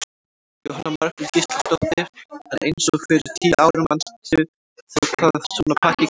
Jóhanna Margrét Gísladóttir: En eins og fyrir tíu árum manstu þá hvað svona pakki kostaði?